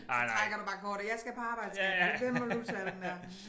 Så trækker du bare kortet jeg skal på arbejde skat den må du tage den der